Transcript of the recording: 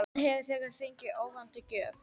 Hann hafði þegar fengið óvænta gjöf.